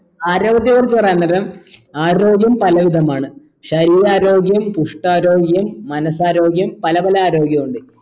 ആരോഗ്യത്തെ കുറിച്ച് പറയാൻ നേരം ആരോഗ്യം പല വിതമാണ് ശരീരാരോഗ്യം പുഷ്ട്ടാരോഗ്യം മനസ്സരോഗ്യം പല പല ആരോഗ്യുണ്ട്